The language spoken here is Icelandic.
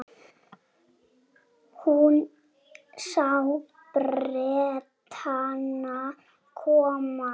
Hún sá Bretana koma.